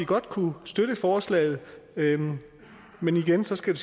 godt kunne støtte forslaget men igen skal